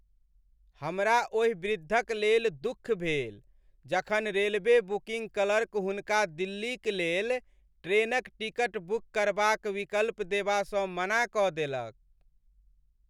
हमरा ओहि वृद्धक लेल दुःख भेल जखन रेलवे बुकिंग क्लर्क हुनका दिल्लीक लेल ट्रेनक टिकट बुक करबाक विकल्प देबासँ मना कऽ देलक।